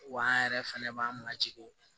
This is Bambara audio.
Wa an yɛrɛ fɛnɛ b'an majigin